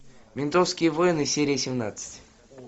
ментовские войны серия семнадцать